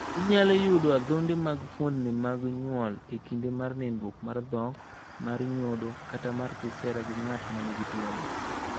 Inyalo yudo adhonde mag fuondni mag nyuol e kinde mar nindruok mar dhok, mar nyodo, kata mar kisera gi ng'at ma nigi tuwono.